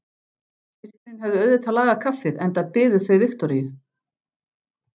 Systkinin höfðu auðvitað lagað kaffið enda biðu þau Viktoríu.